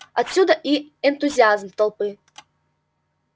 отсюда и энтузиазм толпы